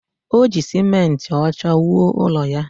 O ji simenti ọcha wuo ụlọ ya